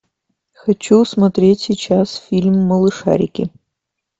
хочу смотреть сейчас фильм малышарики